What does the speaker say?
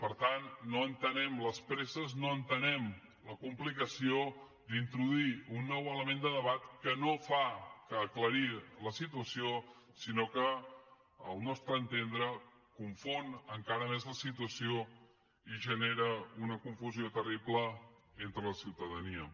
per tant no entenem les presses no entenem la complicació d’introduir un nou element de debat que no fa aclarir la situació sinó que al nostre entendre confon encara més la situació i genera una confusió terrible entre la ciutadania